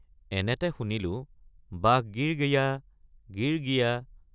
এনেতে শুনিলোঁ বাঘ গিৰ্‌ গিয়া গিৰ্‌ গিয়া।